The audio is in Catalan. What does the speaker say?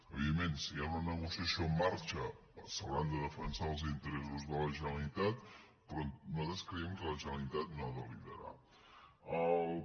evidentment si hi ha una negociació en marxa s’hauran de defensar els interessos de la generalitat però nosaltres creiem que la generalitat no ha de liderar ho